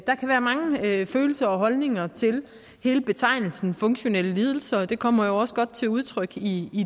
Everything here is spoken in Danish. der kan være mange følelser og holdninger til hele betegnelsen funktionelle lidelser og det kommer jo også godt til udtryk i